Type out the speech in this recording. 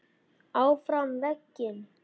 ÁFRAM VEGINN.